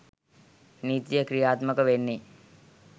නීතිය ක්‍රියාත්මක වෙන්නේ.